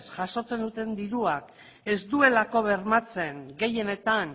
jasotzen duten dirua ez dutelako bermatzen gehienetan